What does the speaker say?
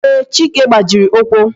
Ee, chike gbajiri ụkwụ